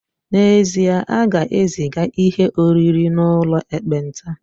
N'ezie, a ga-eziga ihe oriri n'ụlọ ekpenta